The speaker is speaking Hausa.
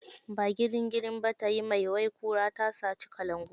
Ba girin girin ba tayi mai, wai kura tasaci kalangu.